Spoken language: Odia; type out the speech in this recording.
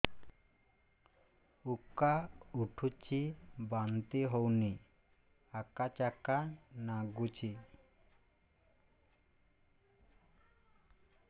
ଉକା ଉଠୁଚି ବାନ୍ତି ହଉନି ଆକାଚାକା ନାଗୁଚି